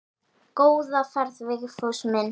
Góða ferð Vigfús minn.